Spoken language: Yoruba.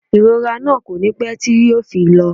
Ìrora náà kò ní pé tí yo fi lọ